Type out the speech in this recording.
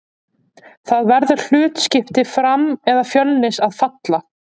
Það verður hlutskipti Fram eða Fjölnis að falla.